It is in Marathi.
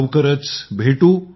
लवकरच भेटू